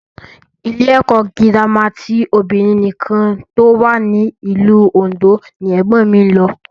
Ilé ẹ̀kọ́ gírámà ti obìnrin nìkan tó wà ní ìlú Òndó ni ẹ̀gbọ́n mi lọ